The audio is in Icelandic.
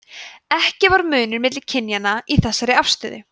ekki var munur milli kynja í þessari afstöðu